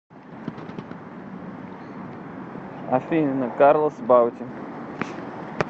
афина карлос баути